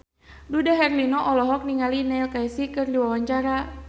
Dude Herlino olohok ningali Neil Casey keur diwawancara